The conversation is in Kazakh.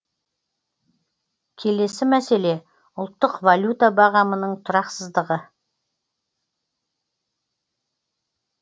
келесі мәселе ұлттық валюта бағамының тұрақсыздығы